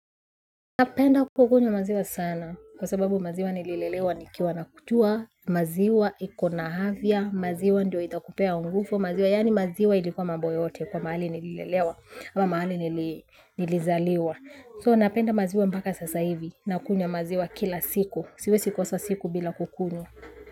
Napenda kukunywa maziwa sana kwa sababu maziwa nililelewa nikiwa nakunywa maziwa iko na afya, maziwa ndio itakupea nguvu, maziwa yani maziwa ilikuwa mambo yote kwa mahali nililelewa ama mahali nilizaliwa. So napenda maziwa mpaka sasa hivi nakunywa maziwa kila siku, siwezi kosa siku bila kukunywa.